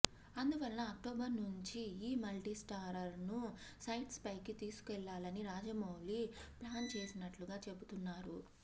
అందువలన అక్టోబర్ నుంచి ఈ మల్టీ స్టారర్ ను సెట్స్ పైకి తీసుకెళ్లాలని రాజమౌళి ప్లాన్ చేసినట్టుగా చెబుతున్నారు